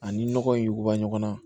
Ani nɔgɔ in yuguba ɲɔgɔn na